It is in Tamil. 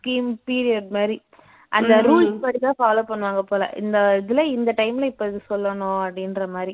scheme period மாதிரி அந்த rules படிதான் follow பண்ணுவாங்க போல இந்த இதுல இந்த time ல இப்போ இது சொல்லணும் அப்படின்ற மாதிரி